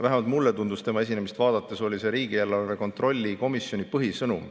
Vähemalt mulle tundus tema esinemist vaadates, et see oli riigieelarve kontrolli komisjoni põhisõnum.